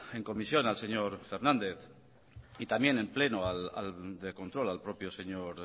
en comisión al señor fernández y también en pleno de control al propio señor